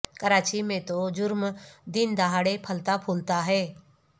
کراچی میں تو جرم دن دہاڑے پھلتا پھولتا ہے